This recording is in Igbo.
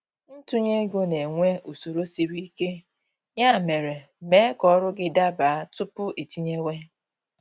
Ntunye ego na-enwe usoro sịrị ike, ya mere, mee ka ọrụ gị daba tupu iitinyewe